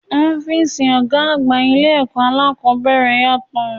Ọ́físì ọgá àgbà ilé ẹ̀kọ́ aláàkọ́bẹ̀rẹ̀ yàtọ̀.